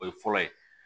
O ye fɔlɔ ye